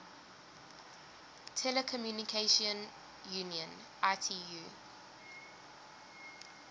telecommunication union itu